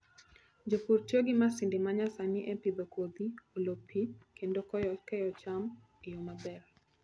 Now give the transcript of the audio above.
Jopur tiyo gi masinde ma nyasani e pidho kodhi, olo pi, kendo kayo cham e yo maber.